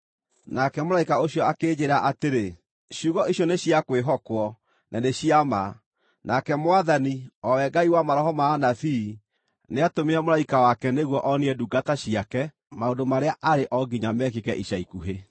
Nake mũraika ũcio akĩnjĩĩra atĩrĩ, “Ciugo icio nĩ cia kwĩhokwo, na nĩ cia ma. Nake Mwathani, o we Ngai wa maroho ma anabii, nĩatũmire mũraika wake nĩguo onie ndungata ciake maũndũ marĩa arĩ o nginya mekĩke ica ikuhĩ.”